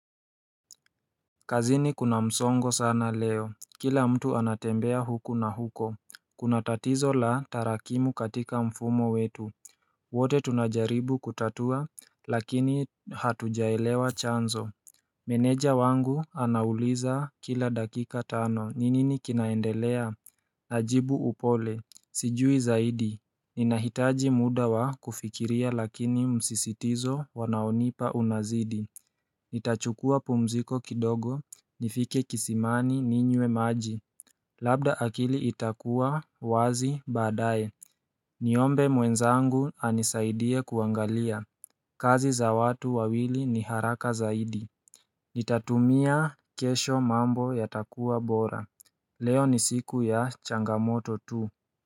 Kazini kuna msongo sana leo Kila mtu anatembea huku na huko Kuna tatizo la tarakimu katika mfumo wetu wote tunajaribu kutatua lakini hatujaelewa chanzo Meneja wangu anauliza kila dakika tano ni nini kinaendelea Najibu upole Sijui zaidi Ninahitaji muda wa kufikiria lakini msisitizo wanaonipa unazidi Nitachukua pumziko kidogo nifike kisimani ninyewe maji Labda akili itakuwa wazi baadaye Niombe mwenzangu anisaidie kuangalia kazi za watu wawili ni haraka zaidi Nitatumia kesho mambo yatakuwa bora Leo ni siku ya changamoto tu.